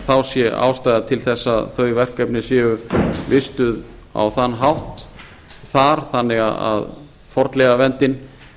þá sé ástæða til þess að þau verkefni séu vistuð á þann hátt þar þannig að fornleifaverndin